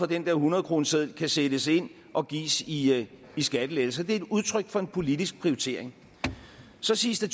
den der hundredkroneseddel kan sættes ind og gives i skattelettelser det er et udtryk for en politisk prioritering så siges der